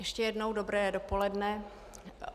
Ještě jednou dobré dopoledne.